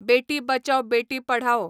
बेटी बचाव बेटी पढाओ